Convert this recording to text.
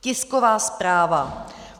Tisková zpráva.